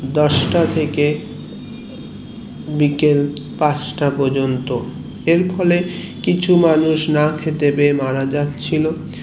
দশটা থেকে বিকেল পাঁচটা পর্যন্ত এর ফলে কিছু মানুষ না খেতে পেয়ে মারা যাচ্ছিলো